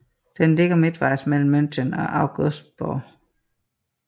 Den ligger midtvejs mellem München og Augsburg